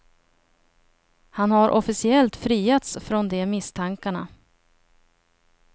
Han har officiellt friats från de misstankarna.